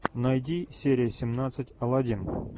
найди серия семнадцать аладдин